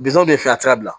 Bitɔn bɛ fɛ a sira